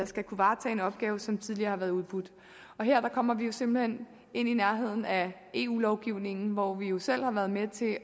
skal kunne varetage en opgave som tidligere har været i udbud her kommer vi simpelt hen i nærheden af eu lovgivningen hvor vi jo selv har været med til